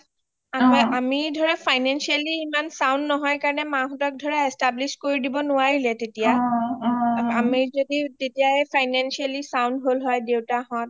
আমি ধৰা Financially ইমান sound নহয় কাৰণে মা হতক establish কৰি দিব নোৱাৰিলোঁ তেতিয়া আমি যদি তেতিয়াই Financially sound হল হৈ দেউতা হত